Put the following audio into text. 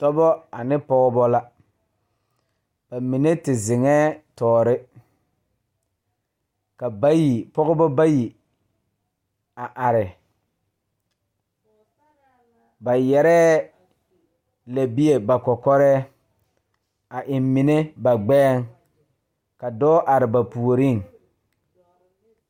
Dɔbɔ ane pɔgebɔ la ba mine te zeŋɛɛ tɔɔre ka bayi pɔgebɔ bayi a are ba yɛrɛɛ lɛbie ba kɔkɔrɛɛ a eŋ mine ba gbɛɛŋ ka dɔɔ are ba puoriŋ.